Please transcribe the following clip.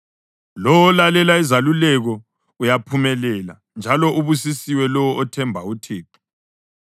Lowo olalela izeluleko uyaphumelela, njalo ubusisiwe lowo othemba uThixo.